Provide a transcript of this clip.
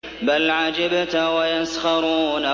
بَلْ عَجِبْتَ وَيَسْخَرُونَ